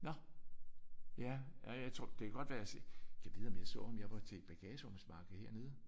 Nå! Ja ja jeg tror det kan godt være jeg har set. Gad vide om jeg så ham jeg var til et bagagerumsmarked hernede